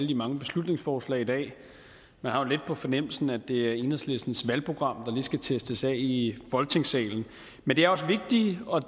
de mange beslutningsforslag i dag man har jo lidt på fornemmelsen at det er enhedslistens valgprogram der lige skal testes af i folketingssalen men det er også vigtige og